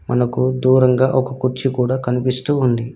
మనకు దూరంగా ఒక కుర్చీ కూడా కనిపిస్తూ ఉంది.